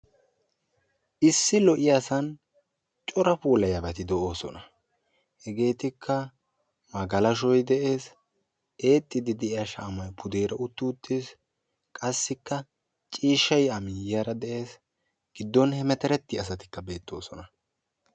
Issi lo'iyaasan cora puulayiyaabati de'oosona. hegeetikka magalashoy de'ees, eexxiidi de'iyaa shaamay pude utti uttiis. qassikka ciishshay a miyiyaara de'ees giddon hemeterettiyaa asatikka beettoosona.